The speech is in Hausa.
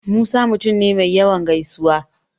Musa mutum ne me yawan gaisuwa.